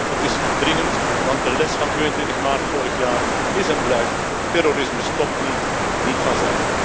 Het is dringend, want de les van 22 maart vorig jaar is en blijft terrorisme stopt niet, niet vanzelf.